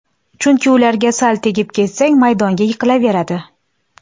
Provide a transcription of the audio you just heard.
Chunki ularga sal tegib ketsang, maydonga yiqilaveradi.